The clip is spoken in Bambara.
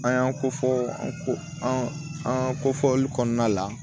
An y'an ko fɔ an ko an ko fɔli kɔnɔna la